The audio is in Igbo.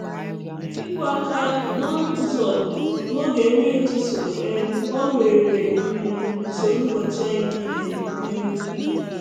Ịkụ aka n’ọnụ ụzọ n’oge nri ụtụtụ um gbanwere um usoro ụbọchị anyị niile. um